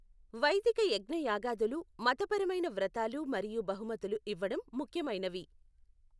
వైదిక యజ్ఞయాగాదులు, మతపరమైన వ్రతాలు మరియు బహుమతులు ఇవ్వడం ముఖ్యమైనవి.